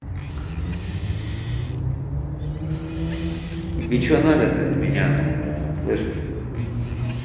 тебе что надо то от меня нахуй слышишь